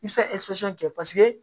I bɛ se ka kɛ paseke